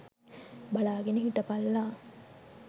බලාගෙන හිටපල්ලා